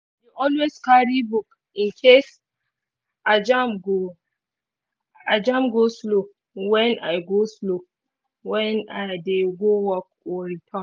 i dey always carry book in case i jam go-slow when i go-slow when i dey go work or return.